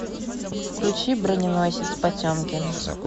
включи броненосец потемкин